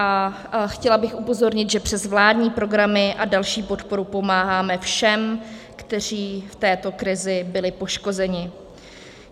A chtěla bych upozornit, že přes vládní programy a další podporu pomáháme všem, kteří v této krizi byli poškozeni.